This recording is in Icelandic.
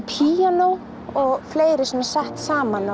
píanói og fleira sett saman